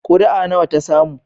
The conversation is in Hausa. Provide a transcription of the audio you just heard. Kuri'a nawa ta samu?